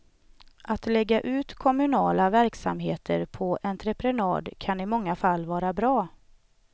Att lägga ut kommunala verksamheter på entreprenad kan i många fall vara bra.